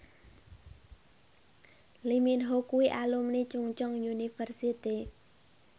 Lee Min Ho kuwi alumni Chungceong University